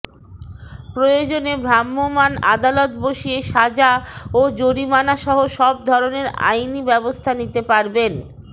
প্রয়োজনে ভ্রাম্যমাণ আদালত বসিয়ে সাজা ও জরিমানাসহ সব ধরনের আইনি ব্যবস্থা নিতে পারবেন